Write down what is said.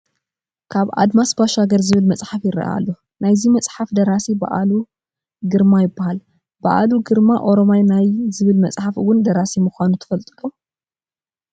ከኣድማሽ ባሻገር ዝብል መፅሓፍ ይርአ ኣሎ፡፡ ናይዚ መፅሓፍ ደራሲ በዓሉ ግርማ ይበሃል፡፡ በዓሉ ግርማ ኦረማይ ናይ ዝብል መፅሓፍ እውን ደራሲ ምዃኑ ትፈልጡ ዶ?